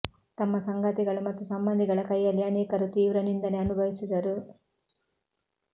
ತಮ್ಮ ಸಂಗಾತಿಗಳು ಮತ್ತು ಸಂಬಂಧಿಗಳ ಕೈಯಲ್ಲಿ ಅನೇಕರು ತೀವ್ರ ನಿಂದನೆ ಅನುಭವಿಸಿದರು